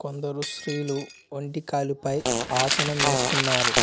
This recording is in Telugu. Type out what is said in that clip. కొందరు స్త్రీలు వంటి కాలిపై ఆసనమేస్తున్నారు.